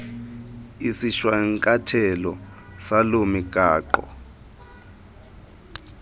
isishwankathelo salo migaqo